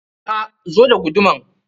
A'a, zo da guduman.